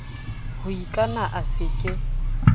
ho ikana a se ke